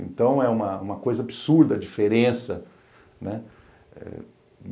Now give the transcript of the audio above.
Então, é uma uma coisa absurda a diferença, né?